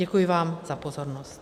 Děkuji vám za pozornost.